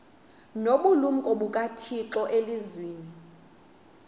nobulumko bukathixo elizwini